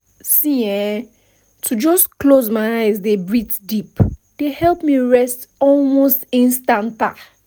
see[um]to just close my eyes dey breathe deep dey help me rest almost instanta